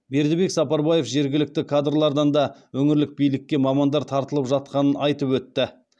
бердібек сапарбаев жергілікті кадрлардан да өңірлік билікке мамандар тартылып жатқанын айтып өтті